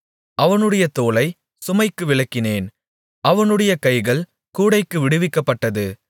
அவனுடைய தோளைச் சுமைக்கு விலக்கினேன் அவனுடைய கைகள் கூடைக்கு விடுவிக்கப்பட்டது